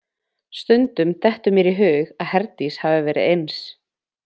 Stundum dettur mér í hug að Herdís hafi verið eins.